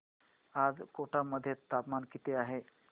आज कोटा मध्ये तापमान किती आहे